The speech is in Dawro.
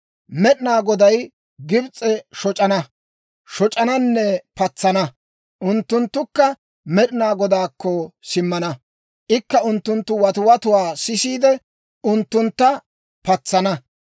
Med'inaa Goday Gibs'e shoc'ana; shoc'ananne patsana. Unttunttukka Med'inaa Godaakko simmana; ikka unttunttu watiwatuwaa sisiide, unttunttu patsana.